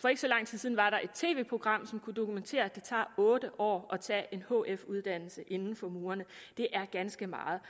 for ikke så lang tid siden var der et tv program som kunne dokumentere at det tager otte år at tage en hf uddannelse inden for murene det er ganske meget